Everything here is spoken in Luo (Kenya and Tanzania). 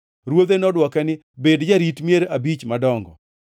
“Ruodhe nodwoke ni, ‘Bed jarit mier madongo abich.’